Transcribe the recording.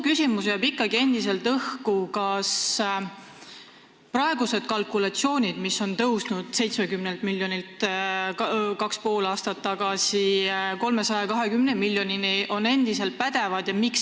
Endiselt jääb õhku suur küsimus: kas praegused kalkulatsioonid, mis on tõusnud kaks ja pool aastat tagasi arvestatud 70 miljonilt eurolt 320 miljonini, on endiselt pädevad?